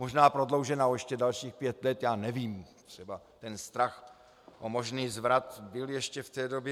Možná prodloužena o ještě dalších pět let, já nevím, třeba ten strach o možný zvrat byl ještě v té době.